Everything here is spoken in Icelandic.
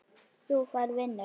Þú færð vinnu.